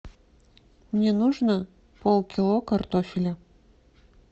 мне нужно полкило картофеля